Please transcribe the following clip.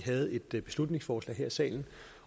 havde et beslutningsforslag her i salen